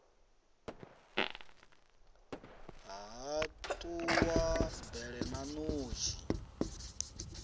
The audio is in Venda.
ha ṱuwa bele na ṋotshi